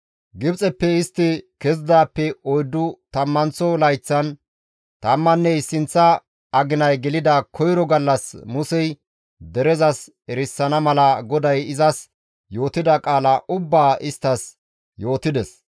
Gibxeppe istti kezidaappe oyddu tammanththo layththan tammanne issinththa aginay gelida koyro gallas Musey derezas erisana mala GODAY izas yootida qaala ubbaa isttas yootides.